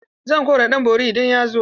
Zan kora ɗan borin idan ya zo.